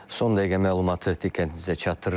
Son dəqiqə məlumatı diqqətinizə çatdırırıq.